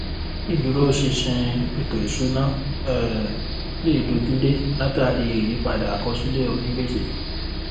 ìdúró ṣinṣin ètò-ìsúnná um lè dojú dé látàrí ìyípadà àkọsílẹ̀ onígbèsè.